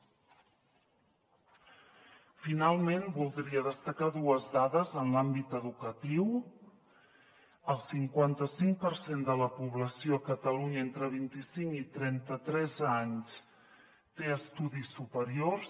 finalment voldria destacar dues dades en l’àmbit educatiu el cinquanta cinc per cent de la població a catalunya entre vint i cinc i trenta tres anys té estudis superiors